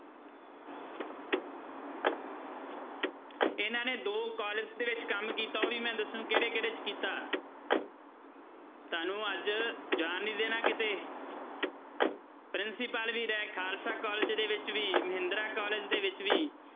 ਇਹਨਾਂ ਨੇ ਦੋ college ਦੇ ਵਿੱਚ ਕੰਮ ਕੀਤਾ ਉਹ ਮੈਂ ਦੱਸੂ ਕਿਹੜੇ ਕਿਹੜੇ 'ਚ ਕੀਤਾ ਤੁਹਾਨੂੰ ਅੱਜ ਜਾਣ ਨੀ ਦੇਣਾ ਕਿਤੇ ਪ੍ਰਿੰਸੀਪਲ ਵੀ ਰਹੇ ਖਾਲਸਾ college ਦੇ ਵਿੱਚ ਵੀ ਮਹਿੰਦਰਾ college ਦੇ ਵਿੱਚ ਵੀ।